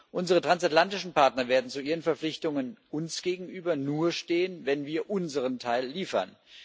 Unsere transatlantischen Partner werden zu ihren Verpflichtungen uns gegenüber nur stehen, wenn wir unseren Teil liefern.